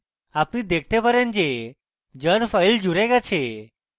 আপনি দেখতে পারেন যে jar file জুড়ে গেছে